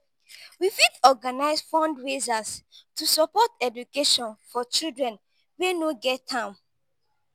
we fit organize fundraisers to support education for children wey no get am.